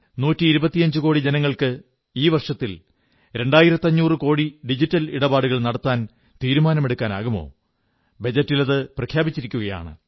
നൂറ്റിയിരുപത്തിയഞ്ചു കോടി ജനങ്ങൾക്ക് ഈ വർഷത്തിൽ രണ്ടായിരത്തഞ്ഞൂറു കോടി ഡിജിറ്റൽ ഇടപാടുകൾ നടത്താൻ തീരുമാനമെടുക്കാനാകുമോ ബജറ്റിലത് പ്രഖ്യാപിച്ചിരിക്കയാണ്